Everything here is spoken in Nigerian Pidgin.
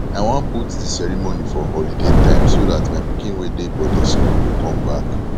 i wan put the ceremony for holiday time so dat my pikin wey dey boarding school go come back